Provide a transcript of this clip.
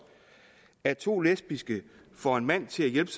at to lesbiske får en mand til at hjælpe